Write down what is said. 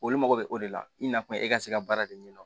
Olu mago bɛ o de la i nakun ye e ka se ka baara de ɲɛdɔn